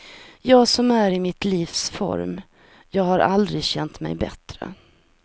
Jag som är i mitt livs form, jag har aldrig känt mig bättre.